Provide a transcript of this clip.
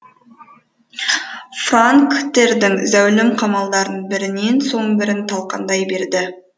франктердің зәулім қамалдарын бірінен соң бірін талқандай берді